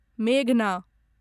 मेघना